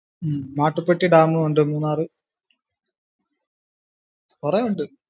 ഉം മാട്ടുപ്പെട്ടി dam ഉണ്ട് മൂന്നാറ് കുറെ ഉണ്ട്